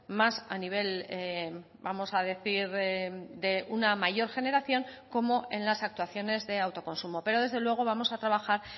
más a nivel vamos a decir de una mayor generación como en las actuaciones de autoconsumo pero desde luego vamos a trabajar